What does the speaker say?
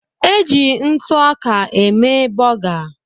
E ji ntụ ọka eme bọga